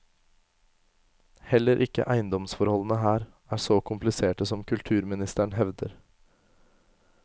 Heller ikke eiendomsforholdene her er så kompliserte som kulturministeren hevder.